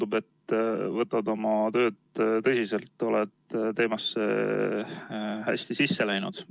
Tundub, et võtad oma tööd tõsiselt ja oled teemasse hästi sisse läinud.